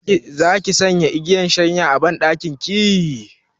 Zaki sanya igiyar shanya a banɗakin ki?